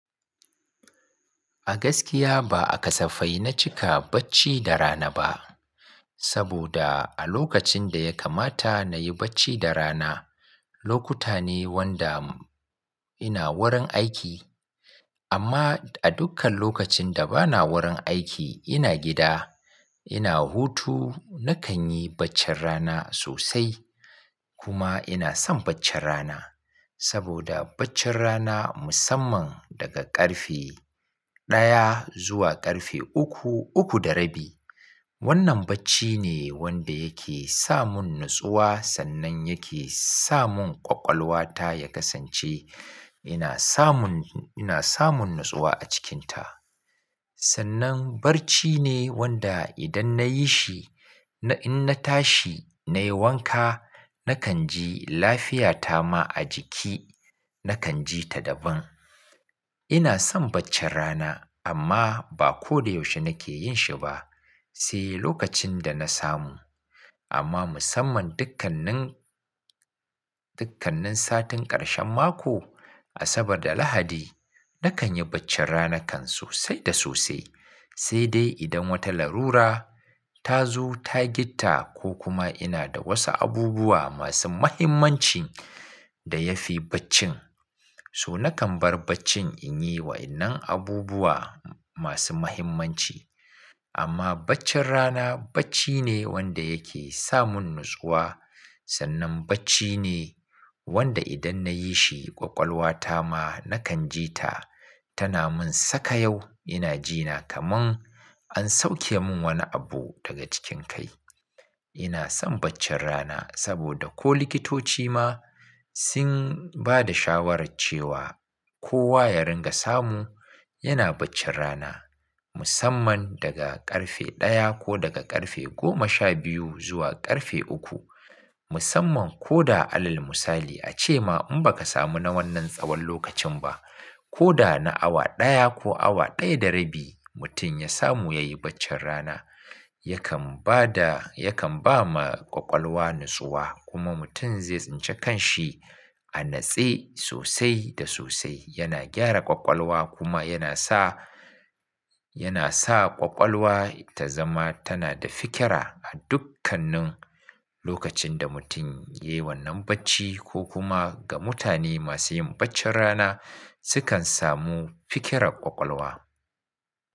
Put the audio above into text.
A gaskiya ba aka safai na cika bacci da rana ba, saboda a lokacin da ya kamata na yi bacci da rana, lokuta ne wanda ina wurin aiki. Amma a dukkan lokacin da bana wurin aiki ina gida, ina hutu nakan yi baccin rana sosai. Kuma ina son baccin rana, saboda baccin rana musamman daga ƙarfe ɗaya zuwa ƙarfe uku, uku da rabi. Wannan bacci ne wanda yake sa mun natsuwa sannan yake sa mun ƙwaƙwalwa ta ya kasance ina samun, ina samun natsuwa a cikinta. Sannan bacci ne wanda idan na yi shi, in na tashi nayi wanka nakan ji lafiya ta ma a jiki nakan ji ta daban. Ina son baccin rana amma ba ko da yaushe nake yin shi ba, sai lokacin da na samu. Amma musamman dukkannin, dukkannin satin ƙarshen mako, Asabar da Lahadi nakan yi baccin rana kan sosai da sosai. Sai dai idan wata larura ta zo ta gitta ko kuma ina da wasu abubuwa masu muhimmancin da ya fi baccin, so nakan bar baccin in yi wa waƴannan abubuwa masu muhimmanci. Amma baccin rana bacci ne wanda yake sa mun natsuwa. Sannan bacci ne wanda idan na yi shi ƙwaƙwalwa ta ma nakan ji ta, tana mun sakayau ina jina kaman an sauke mun wani abu daga cikin kai. Ina son baccin rana saboda ko likitoci ma sun bada shawarar cewa kowa ya ringa samu yana baccin rana musamman daga ƙarfe ɗaya ko daga ƙarfe goma sha biyu zuwa ƙarfe uku. Musamman ko da alal musali ace ma in baka samu na wannan tsawon lokacin ba, ko da na awa ɗaya ko awa ɗaya da rabi mutum ya samu ya yi baccin rana yakan bada, yakan ba ma ƙwaƙwalwa natsuwa kuma mutum zai tsince kan shi. A natse sosai da sosai. Yana gyara ƙwaƙwalwa kuma yana sa, yana sa ƙwaƙwalwa ta zama tana da fikira a dukkanin lokacin da mutum ya yi wannan bacci ko kuma ga mutane masu yin baccin rana. Su kan samu fikirar ƙwaƙwalwa.